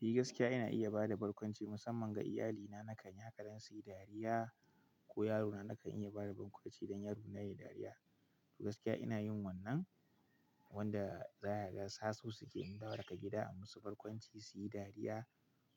Ni gaskiya ina iya ba da barkwanci musamman ga iyalina. Nakan yi haka dan su yi dariya ko yarona nakan iya ba da barkwanci don yaro na yayi dariya. To gaskiya ina yin wannan wanda zaka ga sasu suke in dawo daga gida a musu barkwanci su yi dariya